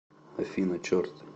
афина черт